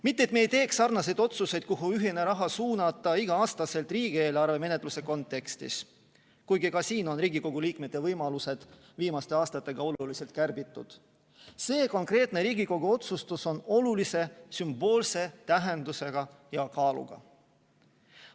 Mitte et me ei teeks sarnaseid otsuseid, kuhu ühine raha suunata, iga-aastaselt riigieelarve menetluse kontekstis, kuigi ka siin on Riigikogu liikmete võimalusi viimaste aastatega oluliselt kärbitud, kuid see konkreetne Riigikogu otsustus on olulise sümboolse tähenduse ja kaaluga.